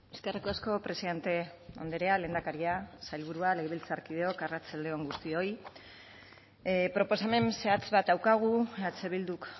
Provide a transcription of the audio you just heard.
eskerrik asko presidente andrea lehendakaria sailburuak legebiltzarkideok arratsalde on guztioi proposamen zehatz bat daukagu eh bilduk